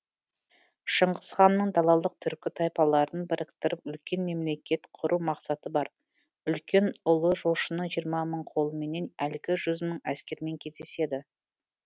шыңғыс ханның далалық түркі тайпаларын біріктіріп үлкен мемлекет құру мақсаты бар үлкен ұлы жошының жиырма мың қолыменен әлгі жүз мың әскермен кездеседі